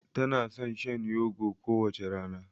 Tana son shan yogo kowace rana.